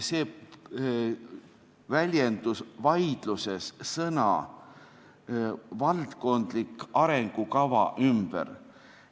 See väljendus vaidluses sõnade "valdkondlik arengukava" ümber.